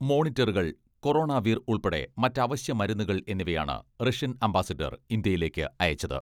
മോണിറ്ററുകൾ, കൊറോണവീർ ഉൾപ്പെടെ മറ്റ് അവശ്യ മരുന്നുകൾ എന്നിവയാണ് റഷ്യൻ അംബാസിഡർ ഇന്ത്യയിലേക്ക് അയച്ചത്.